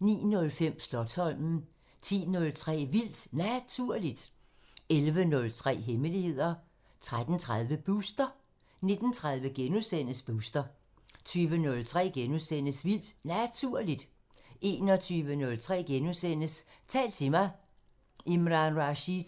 09:05: Slotsholmen 10:03: Vildt Naturligt 11:03: Hemmeligheder 13:30: Booster 19:30: Booster * 20:03: Vildt Naturligt * 21:03: Tal til mig – Imran Rashid: